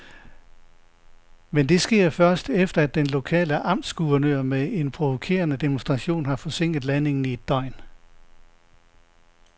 Men det sker først, efter at den lokale amtsguvernør med en provokerende demonstration har forsinket landingen i et døgn.